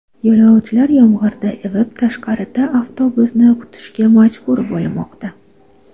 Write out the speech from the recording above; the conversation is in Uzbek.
Yo‘lovchilar yomg‘irda ivib, tashqarida avtobusni kutishga majbur bo‘lmoqda.